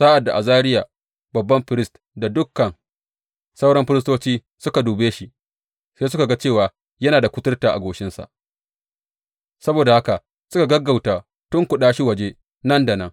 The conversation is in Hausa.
Sa’ad da Azariya babban firist da dukan sauran firistoci suka dube shi, sai suka ga cewa yana da kuturta a goshinsa, saboda haka suka gaggauta tunkuɗa shi waje nan da nan.